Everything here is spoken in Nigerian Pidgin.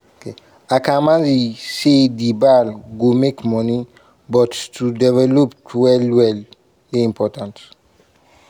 akamanzi say di bal "go make money" but to delevop well-well dey important.